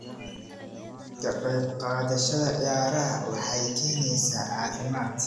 Ka qayb qaadashada ciyaaraha waxay keenaysaa caafimaad.